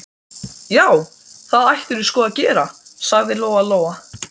Já, það ættirðu sko að gera, sagði Lóa Lóa.